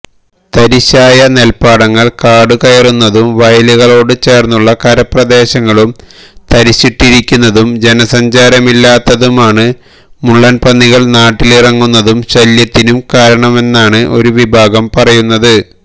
തരിശായ നെൽപ്പാടങ്ങൾ കാടുകയറുന്നതും വയലുകളോട് ചേർന്നുള്ള കരപ്രദേശങ്ങളും തരിശിട്ടിരിക്കുന്നതും ജനസഞ്ചാരമില്ലാത്തതുമാണ് മുള്ളൻപന്നികൾ നാട്ടിലിറങ്ങുന്നതിനും ശല്യത്തിനും കാരണമെന്നാണ് ഒരു വിഭാഗം പറയുന്നത്